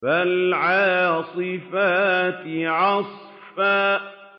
فَالْعَاصِفَاتِ عَصْفًا